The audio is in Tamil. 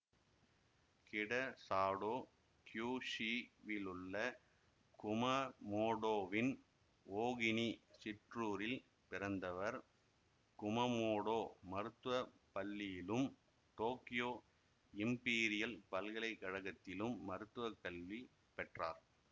கிடசாடோ கியூஷூவிலுள்ள குமமோடோவின் ஓகினி சிற்றூரில் பிறந்தவர் குமமோடோ மருத்துவ பள்ளியிலும் டோக்கியோ இம்பீரியல் பல்கலைகழகத்திலும் மருத்துவ கல்வி பெற்றார்